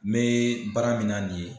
Me baara min na nin ye